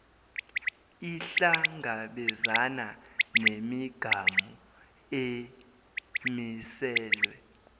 ihlangabezane nemigamu emiselwe